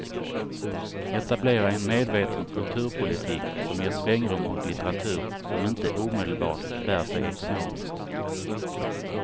Etablera en medveten kulturpolitik som ger svängrum åt litteratur som inte omedelbart bär sig ekonomiskt.